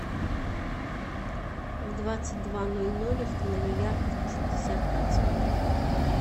в двадцать два ноль ноль установи яркость на шестьдесят процентов